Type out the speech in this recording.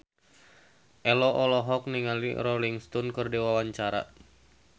Ello olohok ningali Rolling Stone keur diwawancara